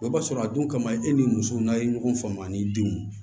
I b'a sɔrɔ a dun kama e ni muso n'a ye ɲɔgɔn faamu a ni denw